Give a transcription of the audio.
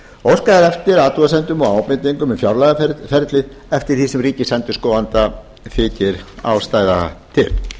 óskað er eftir athugasemdum og ábendingum við fjárlagaferlið eftir því sem ríkisendurskoðanda þykir ástæða til